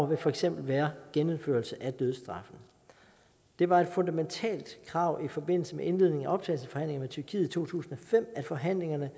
vil for eksempel være nået genindførelse af dødsstraffen det var et fundamentalt krav i forbindelse med indledningen af optagelsesforhandlingerne med tyrkiet i to tusind og fem at forhandlingerne